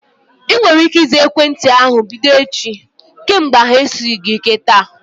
Ị nwere ike ịza ekwentị ahu bido echi? Kemgbe ahu esighị gị ike taa